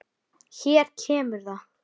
Hér kemur það.